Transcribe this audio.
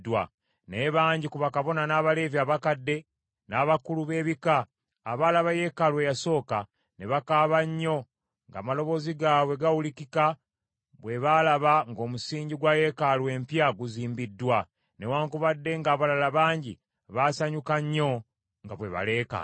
Naye bangi ku bakabona n’Abaleevi abakadde, n’Abakulu b’ebika, abaalaba yeekaalu eyasooka, ne bakaaba nnyo ng’amaloboozi gaabwe gawulikika bwe baalaba ng’omusingi gwa yeekaalu empya guzimbiddwa, newaakubadde ng’abalala bangi baasanyuka nnyo nga bwe baleekaana;